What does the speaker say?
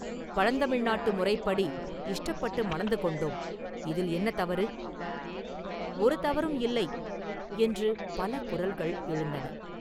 பழந்தமிழ்நாட்டு முறைப்படி இஷ்டப்பட்டு மணந்து கொண்டோம் இதில் என்ன தவறு?” “ஒரு தவறும் இல்லை!” என்று பல குரல்கள் எழுந்தன.